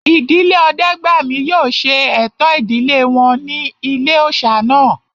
Ìdílé Ọdẹ́gbàmí yóò ṣe ẹ̀tọ́ ìdílé wọn ní ilé-òòsà náà